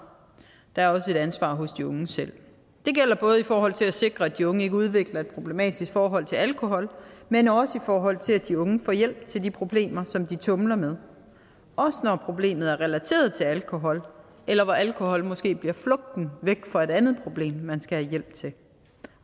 og der er et ansvar hos de unge selv det gælder både i forhold til at sikre at de unge ikke udvikler et problematisk forhold til alkohol men også i forhold til at de unge får hjælp til at løse de problemer som de tumler med også når problemet er relateret til alkohol eller hvor alkohol måske bliver flugten væk fra et andet problem man skal have hjælp til